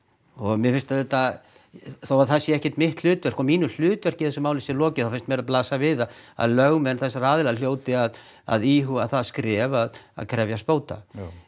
mér finnst þó að það sé ekki mitt hlutverk og að mínu hlutverki í þessu máli sé lokið þá finnst mér blasa við að að lögmenn þessara aðila hljóti að að íhuga það skref að að krefjast bóta